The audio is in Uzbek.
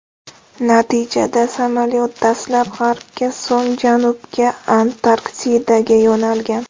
Natijada samolyot dastlab g‘arbga, so‘ng janubga, Antarktidaga yo‘nalgan.